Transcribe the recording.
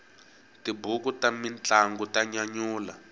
tibuku ta mintlangu ta nyanyula